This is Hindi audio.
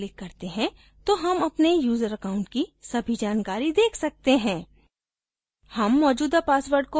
यदि हम edit पर click करते हैं तो हम अपने यूजर account की सभी जानकारी देख सकते हैं